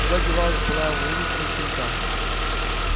куда девалась былая воинственность щенка